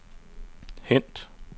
hent